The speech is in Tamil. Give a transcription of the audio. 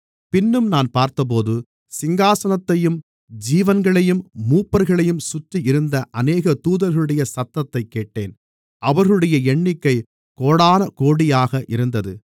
பின்னும் நான் பார்த்தபோது சிங்காசனத்தையும் ஜீவன்களையும் மூப்பர்களையும் சுற்றியிருந்த அநேக தூதர்களுடைய சத்தத்தைக் கேட்டேன் அவர்களுடைய எண்ணிக்கை கோடானகோடியாக இருந்தது